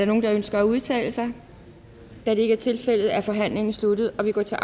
nogen der ønsker at udtale sig da det ikke er tilfældet er forhandlingen sluttet og vi går til